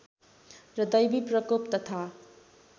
र दैविप्रकोप तथा